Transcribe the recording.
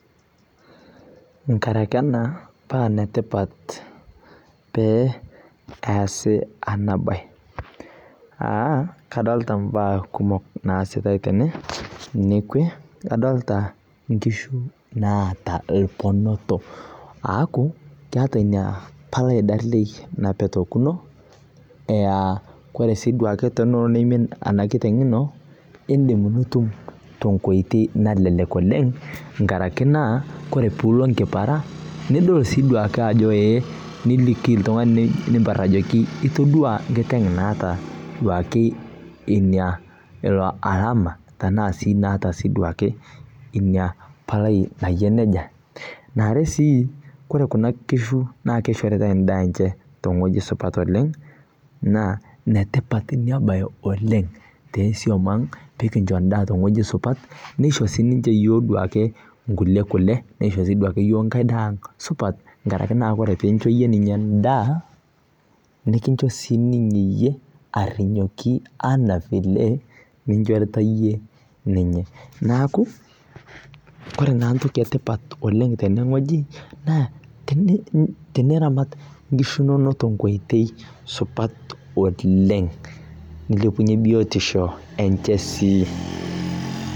Nkaraki ena paa netipat pee easi ena bae. Kadolita imbaak kumok naasitae tene nekwe, aaku kadolita inkishu naata irponoto aaku keeta ina palai barrlai napetokino, aa ore sii duo ake tenelo neimin ena kiteng ino, iindim nitum tenkoitoi nalelek oleng nkaraki naa kore pee ilo enkipara nedol sii duake ajo ee niliki oltung'ani nimparr ajoki itodwaa enkiteng naata duake ina alama tenaa sii naa duake ina palai nayia neija. Eniare sii, kore kina kishu naa keishoritae endaa enye tewueji sidai oleng naa netipat en bae oleng too swam ang peekincho endaa tewueji supat peisho siininche iyiok duake inkulie kule, neisho sii duake iyiok enkae daa supat nkaraki naa ore piincho iyie ninye endaa, nikincho siininye iyie are arrinyoki anaa vile ninchorita iyie ninye. Neeku kore naa entoki etipat oleng tenewueji naa teniramat inkishu inonok tenkoitoi supat oleng nilepunye biotishu enche sii